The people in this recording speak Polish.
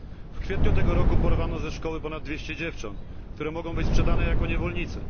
W kwietniu tego roku porwano ze szkoły ponad 200 dziewcząt, które mogą być sprzedane jako niewolnice.